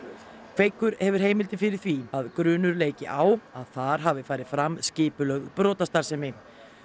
kveikur hefur heimildir fyrir því að grunur leiki á að þar hafi farið fram skipulögð brotastarfsemi